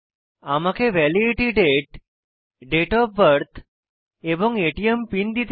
আমাকে validity date date of birth এবং ATM pin দিতে হবে